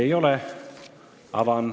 Ei ole.